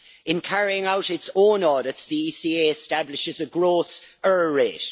In carrying out its own audits, the ECA establishes a gross error rate.